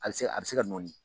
A bɛ se ka nɔɔni